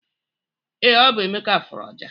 ee, ọ bụ emeka furu ọjà.